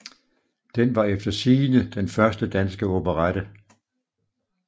Den var efter sigende den første danske operette